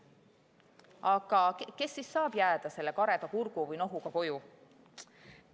Aga kes siis saab selle kareda kurgu või nohuga koju jääda?